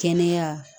Kɛnɛya